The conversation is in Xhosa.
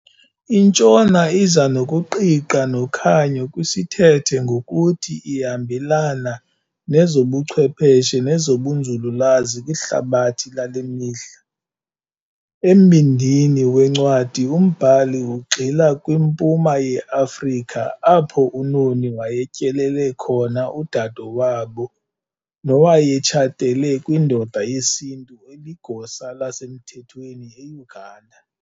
INtshona iza nokuqiqa nokhanyo kwisithethe ngokuthi ihambelana nezobuchwepheshe nezobunzululwazi kwihlabathi lale mihla. Embindini wencwadi umbhali ugxila kwiMpuma yeAfrika apho uNoni wayetyelele khona udade wabo nowayetshatele kwindoda yesiNtu eligosa lasemthethweni eUganda.